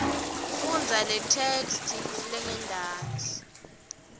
fundza letheksthi lengentasi